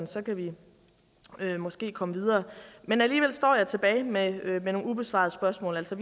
så kan vi måske komme videre men alligevel står jeg tilbage med nogle ubesvarede spørgsmål altså